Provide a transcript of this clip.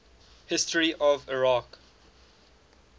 history of iraq